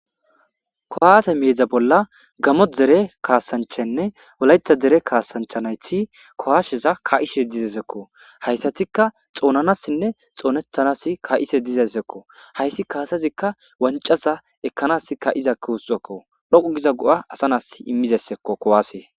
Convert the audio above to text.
Kuwase meda bolla Gamo dere kaasanchanne wolaytha Deere kaasanchati kuwasezs ka'ishe dizaysako haysatika xoonanasinne xoonetanas ka'ishe dizaysako haysi kaasazika wanca ekanasi ka'iza kaasazako dhoqu Giza go'a asa nasi imizaysako kuwasey